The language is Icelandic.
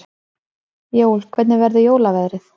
Jói, hvernig verður jólaveðrið?